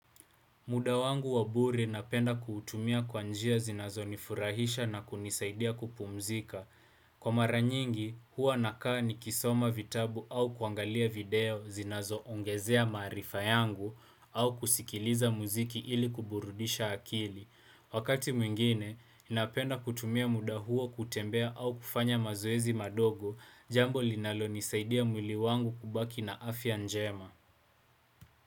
Muda wangu wa bure napenda kuutumia kwa njia zinazonifurahisha na kunisaidia kupumzika. Kwa mara nyingi, huwa nakaa ni kisoma vitabu au kuangalia video zinazo ongezea maarifa yangu au kusikiliza mziki ili kuburudisha akili. Wakati mwingine, napenda kutumia muda huwa kutembea au kufanya mazoezi madogo jambo linalo nisaidia mwili wangu kubaki na afya njema.